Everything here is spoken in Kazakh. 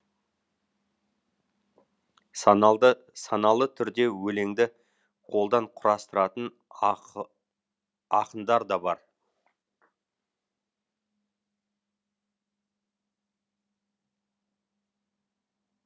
саналы түрде өлеңді қолдан құрастыратын ақындар да бар